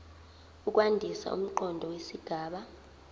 ukwandisa umqondo wesigaba